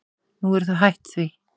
Nú eru þau hætt því.